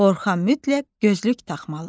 Orxan mütləq gözlük taxmalıdır.